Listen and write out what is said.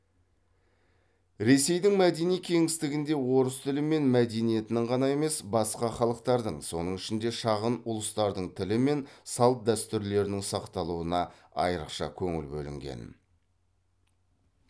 ресейдің мәдени кеңістігінде орыс тілі мен мәдениетінің ғана емес басқа халықтардың соның ішінде шағын ұлыстардың тілі мен салт дәстүрлерінің сақталуына айрықша көңіл бөлінген